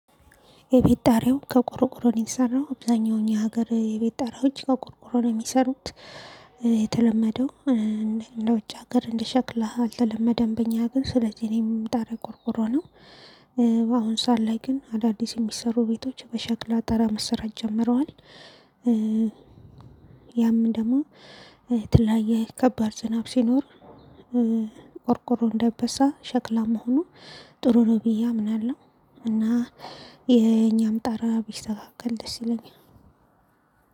የቤት ጣሪያው ከቆርቆሮ ነው የተሰራው አብዛኛው እኛ ሀገር የቤት ጣሪያዎች ከቆርቆሮ ነው የሚሰሩት። የተለመደው እንደ ውጭ ሀገር እንደሸክላ አልተለመደም በእኛ ሀገር ስለዚህ እኔም ጣሪያ ቆርቆሮ ነው። በአሁን ሰዓት ላይ ግን አዳዲስ የሚሰሩ ቤቶች በሸክላ ጣራ መሰራት ጀምረዋል። ያም ደግሞ የተለያየ ከባድ ዝናብ ሲኖር ቆርቆሮ እንደይበሳ ሸክላ መሆኑ ጥሩ ነው ብዬ አምናለሁ። እና የእኛም ጣራ ቢስተካከል ደስ ይለኛል